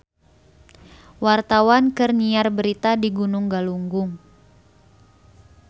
Wartawan keur nyiar berita di Gunung Galunggung